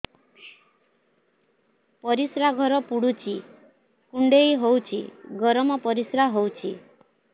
ପରିସ୍ରା ଘର ପୁଡୁଚି କୁଣ୍ଡେଇ ହଉଚି ଗରମ ପରିସ୍ରା ହଉଚି